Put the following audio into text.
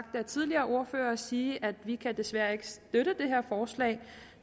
med tidligere ordførere sige at vi desværre ikke kan støtte det her forslag